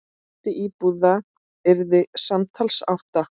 Fjöldi íbúða yrði samtals átta.